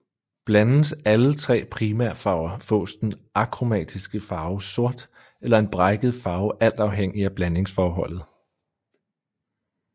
Blandes alle tre primærfarver fås den akromatiske farve sort eller en brækket farve alt afhængig af blandingsforholdet